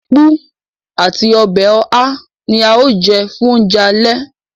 Ápú àti ọbẹ̀ oha ní a o jẹ fún oúnjẹ alẹ́